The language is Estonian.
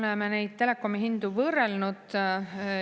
Me oleme neid telekomihindu võrrelnud.